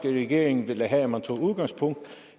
regering ville have at man tog udgangspunkt